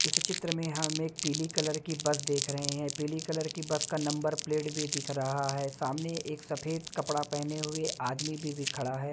इस चित्र में हम एक पीली कलर की बस देख रहे हैं पीली कलर की बस का नंबर प्लेट भी दिख रहा है सामने एक सफेद कपड़ा पहने हुए आदमी भी भी खड़ा है।